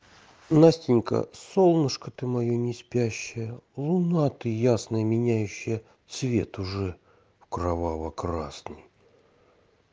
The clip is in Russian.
настенька солнышко ты моё не спящее луна ты ясная меняющая цвет уже кроваво-красный